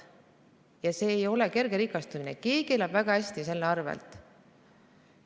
Ja see ei ole mitte tagasihoidlik rikastumine, vaid keegi elab selle arvel väga hästi.